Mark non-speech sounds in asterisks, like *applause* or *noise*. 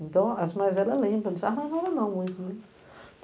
Então, as mais velhas lembram, *unintelligible* não muito, né?